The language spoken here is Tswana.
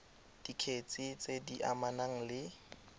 dikgetse tse di amanang le